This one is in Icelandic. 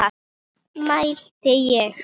mælti ég.